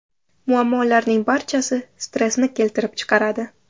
Muammolarning barchasi stressni keltirib chiqaradi.